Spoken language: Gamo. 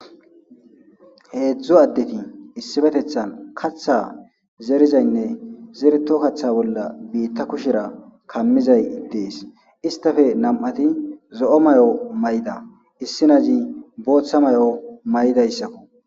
Heedzdzu addeti issifetethan katha zerizaynne zereto katha bolla biitta kushera kammizay dees istafe nam'ati zo'o may'o maya issi na'zi booththa may'o maydayssakko.